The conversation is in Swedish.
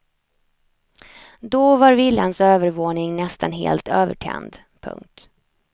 Då var villans övervåning nästan helt övertänd. punkt